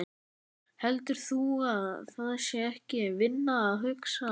Heldur þú að það sé ekki vinna að hugsa?